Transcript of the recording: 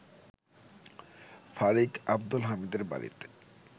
ফারিক আব্দুল হামিদের বাড়িতে